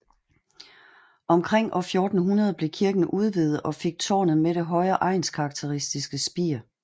Omkring år 1400 blev kirken udvidet og fik tårnet med det høje egnskarakteristiske spir